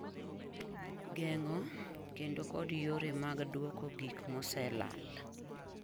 geng'o kendo kod yore mag duoko gik mosee lal;